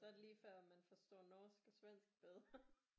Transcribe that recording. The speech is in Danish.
Så er det ligefør man forstår norsk og svensk bedre